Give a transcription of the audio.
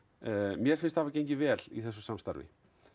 mér finnst hafa gengið vel í þessu samstarfi